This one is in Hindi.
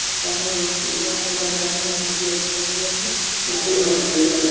लग रहा है। बहुत सुन्दर लगा रहा है। बहुत ही अच्छा जगह है। देखने में बहुत सुन्दर लग --